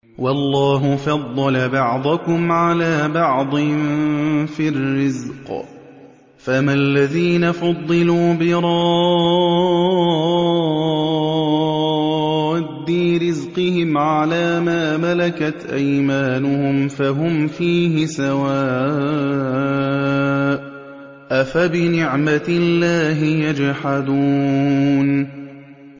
وَاللَّهُ فَضَّلَ بَعْضَكُمْ عَلَىٰ بَعْضٍ فِي الرِّزْقِ ۚ فَمَا الَّذِينَ فُضِّلُوا بِرَادِّي رِزْقِهِمْ عَلَىٰ مَا مَلَكَتْ أَيْمَانُهُمْ فَهُمْ فِيهِ سَوَاءٌ ۚ أَفَبِنِعْمَةِ اللَّهِ يَجْحَدُونَ